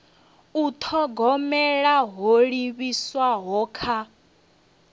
u thogomela ho livhiswaho kha